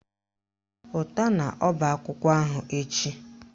Pụta n'ọbaakwụkwọ ahụ echi!